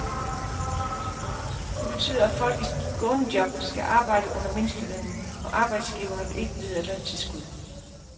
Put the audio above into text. Det betyder, at folk i skånejob skal arbejde under mindstelønnen, og arbejdsgiverne vil ikke vide af løntilskud.